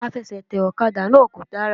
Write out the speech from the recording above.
Àfesètè òkadà náà kò dára